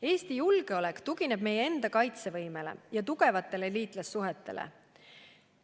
Eesti julgeolek tugineb meie enda kaitsevõimele ja tugevatele liitlassuhetele.